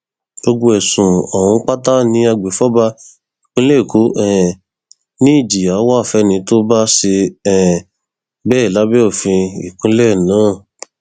gbogbo ẹsùn ọhún pátá ni agbèfọba ìpínlẹ èkó um ni ìjìyà wá fẹni tó bá ṣe um bẹẹ lábẹ òfin ìpínlẹ náà